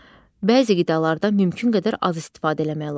Bəzi qidalardan mümkün qədər az istifadə eləmək lazımdır.